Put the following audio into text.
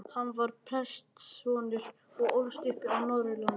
Hann var prestssonur og ólst upp á Norðurlandi.